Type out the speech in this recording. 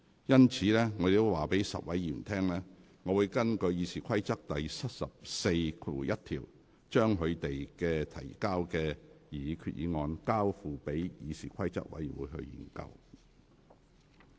因此，我告知該10位議員，我會根據《議事規則》第741條，將你們提交的上述擬議決議案，交付議事規則委員會研究。